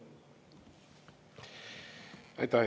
Aitäh!